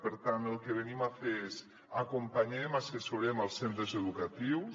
per tant el que venim a fer és acompanyem assessorem els centres educatius